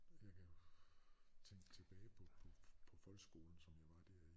Jeg kan tænke tilbage på på på folkeskolen som jeg var der i